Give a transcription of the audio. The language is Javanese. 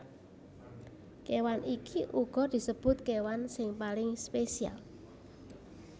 Kéwan iki uga disebut kéwan sing paling spesial